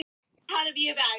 Hann varð bara foj.